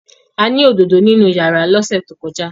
A ní òdodo nínú rárà lọ́sẹ̀ tó kọjá.